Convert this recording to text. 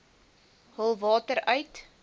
hul water uit